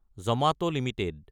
Jamat Ltd